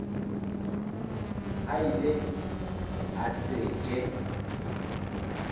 a ile a se ke